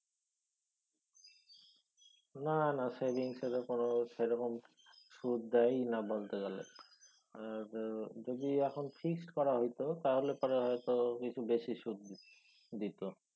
না না savings এর কোনও সেরকম সুদ দেয়ই না বলতে গেলে। আর যদি এখন fix করা হইত তাহলে পরে হয়ত কিছু বেশি সুদ দিত।